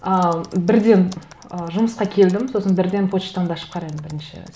ал бірден ы жұмысқа келдім сосын бірден почтамды ашып қараймын бірінші